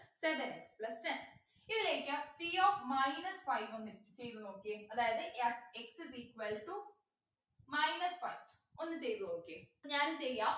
seven x plus ten ഇതിലേക്ക് p of minus five ഒന്നിട്ടു ചെയ്തു നോക്കിയെ അതായത് yah, x is equal to minus five ഒന്ന് ചെയ്തു നോക്കിയെ so ഞാനും ചെയ്യാം